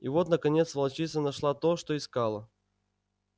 и вот наконец волчица нашла то что искала